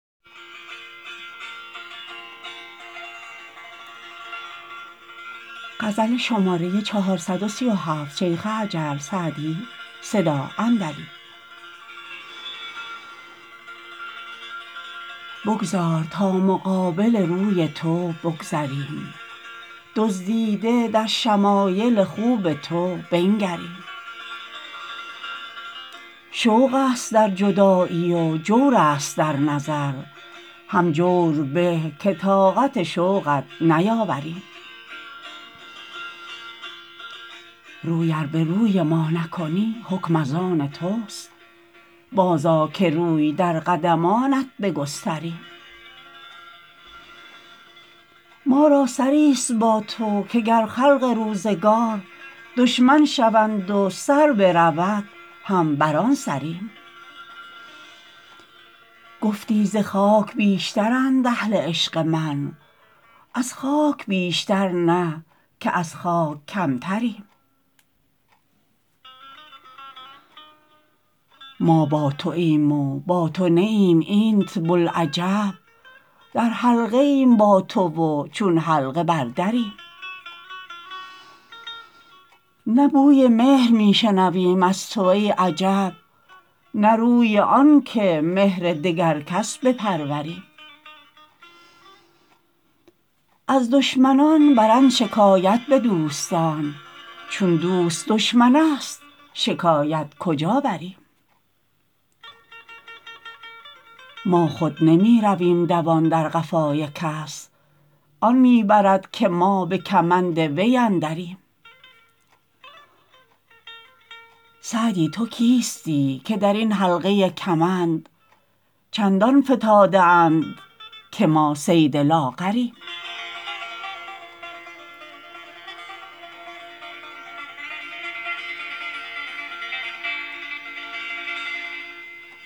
بگذار تا مقابل روی تو بگذریم دزدیده در شمایل خوب تو بنگریم شوق است در جدایی و جور است در نظر هم جور به که طاقت شوقت نیاوریم روی ار به روی ما نکنی حکم از آن توست بازآ که روی در قدمانت بگستریم ما را سری ست با تو که گر خلق روزگار دشمن شوند و سر برود هم بر آن سریم گفتی ز خاک بیشترند اهل عشق من از خاک بیشتر نه که از خاک کمتریم ما با توایم و با تو نه ایم اینت بلعجب در حلقه ایم با تو و چون حلقه بر دریم نه بوی مهر می شنویم از تو ای عجب نه روی آن که مهر دگر کس بپروریم از دشمنان برند شکایت به دوستان چون دوست دشمن است شکایت کجا بریم ما خود نمی رویم دوان در قفای کس آن می برد که ما به کمند وی اندریم سعدی تو کیستی که در این حلقه کمند چندان فتاده اند که ما صید لاغریم